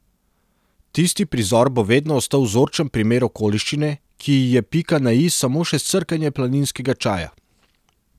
Tisti prizor bo vedno ostal vzorčen primer okoliščine, ki ji je pika na i samo še srkanje planinskega čaja.